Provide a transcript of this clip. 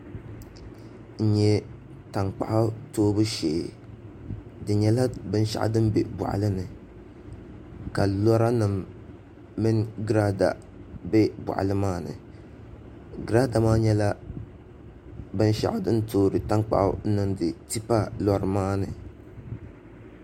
N nyɛ tankpaɣu toobu shee di nyɛla binshaɣu din bɛ boɣali ni ka lora nim mini giraada bɛ boɣali maa ni grliraada maa nyɛla binshaɣu din toori tankpaɣu n niŋdi tipa lori maa ni